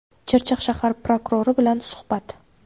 Chirchiq shahar prokurori bilan suhbat.